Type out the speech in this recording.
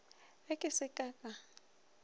ge ke se ka ka